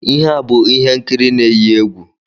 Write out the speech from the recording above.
Ihe a bụ ihe nkiri na-eyi egwu.